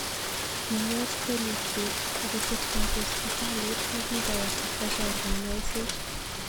King'et kelyekchiik akokisirtaji hospitalit nekigaawo ipkochor kanyaiset